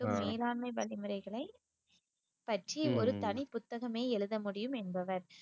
மேலாண்மை வழிமுறைகளை பற்றி ஒரு தனி புத்தகமே எழுத முடியும் என்பவர்